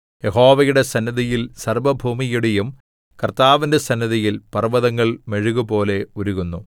യഹോവയുടെ സന്നിധിയിൽ സർവ്വഭൂമിയുടെയും കർത്താവിന്റെ സന്നിധിയിൽ പർവ്വതങ്ങൾ മെഴുകുപോലെ ഉരുകുന്നു